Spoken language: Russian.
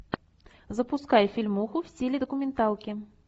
запускай фильмоху в стиле документалки